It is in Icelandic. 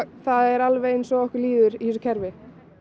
það er eins og okkur líður í þessu kerfi